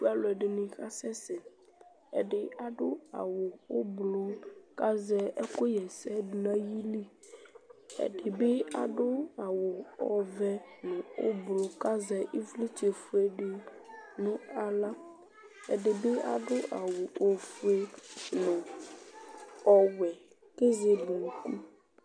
Alʋɛdɩnɩ kasɛsɛ Ɛdɩ adʋ awʋ ʋblʋ kʋ azɛ ɛkʋɣa ɛsɛ dʋ nʋ ayili Ɛdɩ bɩ adʋ awʋ ɔvɛ nʋ ʋblʋ kʋ azɛ ɩvlɩtsɛfue dɩ nʋ aɣla Ɛdɩ bɩ adʋ awʋ ofue nʋ ɔwɛ kʋ ezele unuku